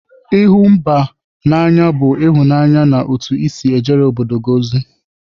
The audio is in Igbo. ịhụ mba n'anya bụ ịhụnanya na otu i si ejere obodo gị ozi.